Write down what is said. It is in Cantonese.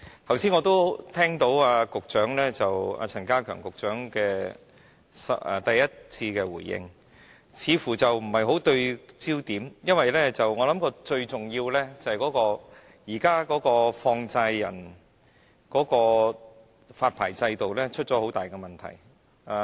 剛才我聽到陳家強局長的開場發言，似乎不太對焦，因為最重要是現行的放債人發牌制度出現很大問題。